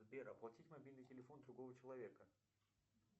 сбер оплатить мобильный телефон другого человека